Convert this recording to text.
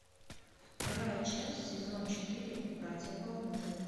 вторая часть сезон четыре братья по оружию